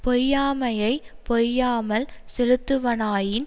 பொய்யாமையைப் பொய்யாமல் செலுத்துவனாயின்